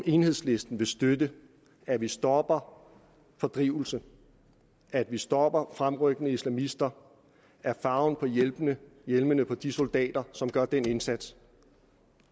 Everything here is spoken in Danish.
enhedslisten vil støtte at vi stopper fordrivelse at vi stopper fremrykkende islamister er farven på hjelmene hjelmene på de soldater som gør den indsats